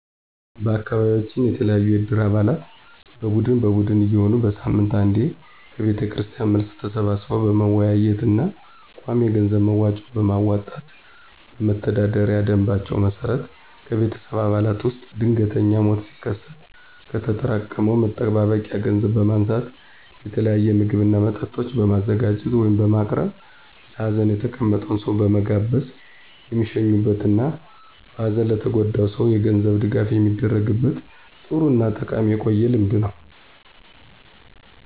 በአካቢያችን የተለያዩ የእድር አባላት በቡድን በቡድን እየሆኑ በሳምንት አንዴ ከቤተክርስቲያን መልስ ተሰባስበው በመወያየት እና ቋሚ የገንዘብ መዋጮ በማዋጣት በመተዳደሪያ ደምባቸው መሰረት ከቤተሰብ አባላት ውስጥ ድንገተኛ ሞት ሲከሰት ከተጠራቀመ መጠባበቂያ ገንዘብ በማንሳት የተለያየ ምግብ እና መጠጦች በማዘጋጀት (በማቅረብ) ለሀዘን የተቀመጠውን ሰው በመጋበዝ የሚሸኙበት እና በሀዘን ለተጎዳው ሰው የገንዘብ ድጋፍ የሚደረግበት ጥሩ እና ጠቃሚ የቆየ ልምድ ነው።